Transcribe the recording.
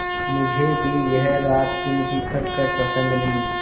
मुझे भी यह रातदिन की खटखट पसंद नहीं